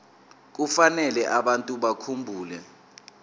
kufanele abantu bakhumbule